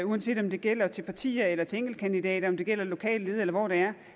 uanset om det gælder til partier eller til enkeltkandidater om det gælder et lokalt led eller hvor det er